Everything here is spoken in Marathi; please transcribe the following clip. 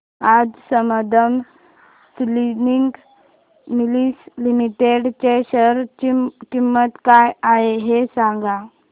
आज संबंधम स्पिनिंग मिल्स लिमिटेड च्या शेअर ची किंमत काय आहे हे सांगा